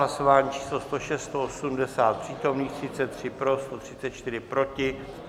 Hlasování číslo 106, 180 přítomných, 33 pro, 134 proti.